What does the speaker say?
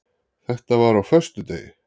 Þetta var á föstudegi.